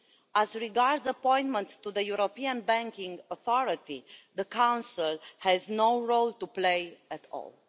As regards appointments to the European Banking Authority, the Council has no role to play at all.